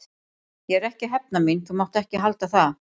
Ég er ekki að hefna mín, þú mátt ekki halda það.